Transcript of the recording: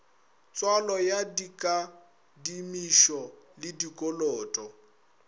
tswalo ya dikadimišo le dikoloto